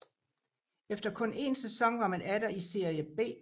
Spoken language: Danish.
Efter kun én sæson var man atter i Serie B